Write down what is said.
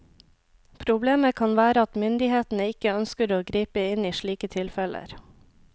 Problemet kan være at myndighetene ikke ønsker å gripe inn i slike tilfeller.